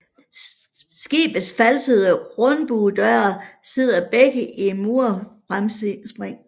Skibets falsede rundbuedøre sidder begge i murfremspring